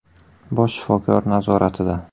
bosh shifokor nazoratida.